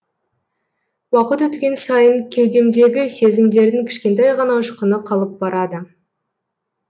уақыт өткен сайын кеудемдегі сезімдердің кішкентай ғана ұшқыны қалып барады